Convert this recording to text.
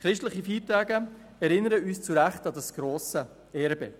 Christliche Feiertage erinnern uns zu Recht an dieses grosse Erbe.